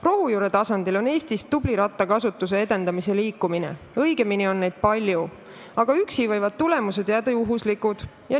Rohujuure tasandil on Eestis olemas tubli rattakasutuse edendamise liikumine, õigemini on neid palju, aga üksi tegutsedes võivad tulemused juhuslikuks jääda.